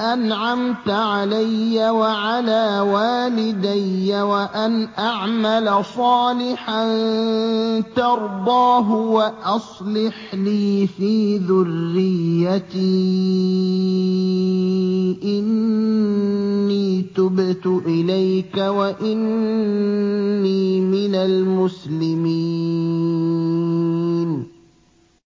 أَنْعَمْتَ عَلَيَّ وَعَلَىٰ وَالِدَيَّ وَأَنْ أَعْمَلَ صَالِحًا تَرْضَاهُ وَأَصْلِحْ لِي فِي ذُرِّيَّتِي ۖ إِنِّي تُبْتُ إِلَيْكَ وَإِنِّي مِنَ الْمُسْلِمِينَ